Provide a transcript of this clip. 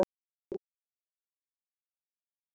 Ég skal bara þræta fyrir það, hugsaði Lóa-Lóa.